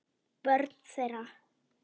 Börn þeirra